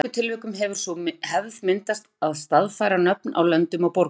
Í mörgum tilvikum hefur sú hefð myndast að staðfæra nöfn á löndum og borgum.